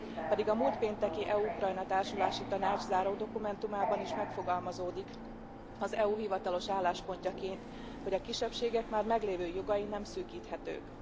Pedig a múlt pénteki EU Ukrajna társulási tanács záródokumentumában is megfogalmazódik az EU hivatalos álláspontjaként, hogy a kisebbségek már meglévő jogai nem szűkíthetők.